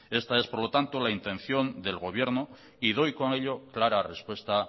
esta es por lo tanto la intención del gobierno y doy con ello clara respuesta